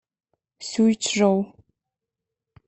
сюйчжоу